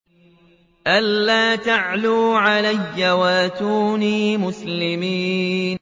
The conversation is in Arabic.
أَلَّا تَعْلُوا عَلَيَّ وَأْتُونِي مُسْلِمِينَ